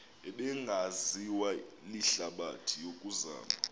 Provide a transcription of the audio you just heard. ebingaziwa lihlabathi yokuzama